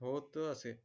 होत असे